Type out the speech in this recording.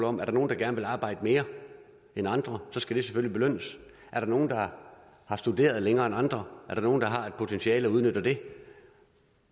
om der er nogle der gerne vil arbejde mere end andre og så skal det selvfølgelig belønnes er der nogle der har studeret længere end andre er der nogle der har et potentiale og udnytter det